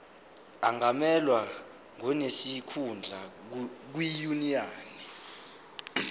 angamelwa ngonesikhundla kwinyunyane